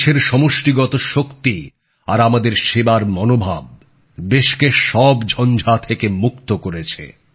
দেশের সমষ্টিগত শক্তি আর আমাদের সেবার মনোভাব দেশকে সব ঝঞ্ঝা থেকে মুক্ত করেছে